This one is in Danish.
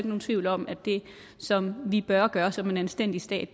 nogen tvivl om at det som vi bør gøre som en anstændig stat